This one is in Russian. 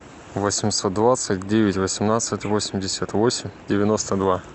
восемьсот двадцать девять восемнадцать восемьдесят восемь девяносто два